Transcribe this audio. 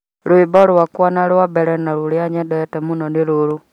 Rwĩmbo rwakwa rwa mbere na rũrĩa nyendete mũno rũu nĩ rũru